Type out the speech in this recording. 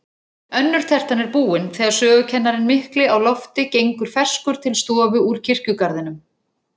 Önnur tertan er búin, þegar sögukennarinn mikli á lofti gengur ferskur til stofu úr kirkjugarðinum.